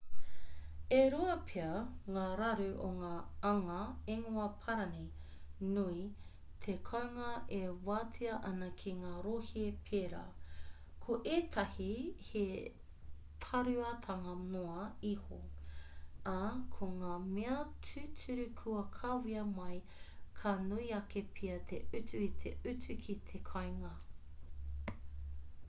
e rua pea ngā raru o ngā anga ingoa-parani nui te kounga e wātea ana ki ngā rohe pērā ko ētahi he tāruatanga noa iho ā ko ngā mea tūturu kua kawea mai ka nui ake pea te utu i te utu ki te kāinga